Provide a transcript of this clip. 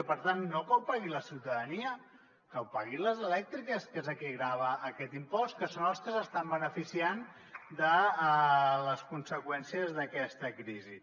i per tant no que ho pagui la ciutadania que ho paguin les elèctriques que és a qui grava aquest impost que són els que s’estan beneficiant de les conseqüències d’aquesta crisi